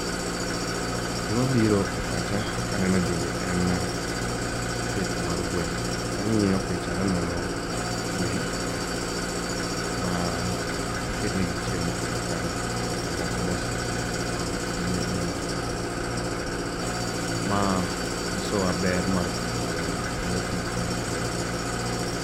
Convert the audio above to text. Gimabiro e pacha kaneno gini en pith mar gweno. Ang'iyo picha taneno gwen ma oketnegi chiemo piny kanyo kasto moko be osenyuolo tong' mabe nenore kanyo. Ma nyisowa ber mar pidho gweno kendo kaka onego bed nipidho gweno.